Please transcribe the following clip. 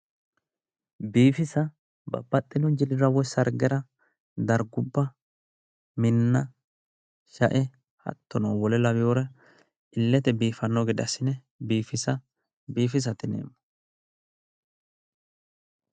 Biifisa babbaxino jilira woyi sargera dargubba minna shae hattono wole laweere illete biiffanno gede assine biifisa biifisate yineemmo.